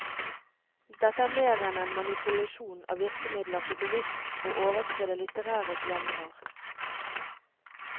Dette er mer enn en manipulasjon av virkemidler for bevisst å overskride litterære genrer.